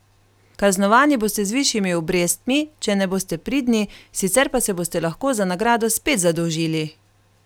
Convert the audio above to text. Kaznovani boste z višjimi obrestmi, če ne boste pridni, sicer pa se boste lahko za nagrado spet zadolžili!